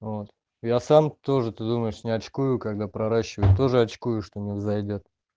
вот я сам тоже ты думаешь не очкую когда проращиваю тоже очкую что не взойдёт